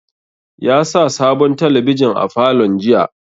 Ya sa sabon talabijin a falon jiya